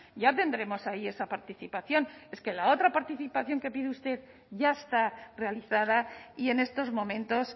ya tendremos ahí esa participación es que la otra participación que pide usted ya está realizada y en estos momentos